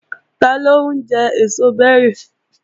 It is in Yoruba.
Taló ń jẹ èso bẹ́rì?